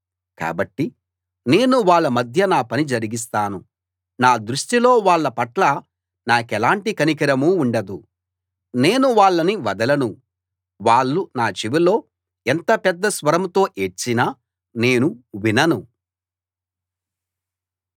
కాబట్టి నేను వాళ్ళ మధ్య నా పని జరిగిస్తాను నా దృష్టిలో వాళ్ళ పట్ల నాకెలాంటి కనికరమూ ఉండదు నేను వాళ్ళని వదలను వాళ్ళు నా చెవిలో ఎంత పెద్ద స్వరంతో ఏడ్చినా నేను వినను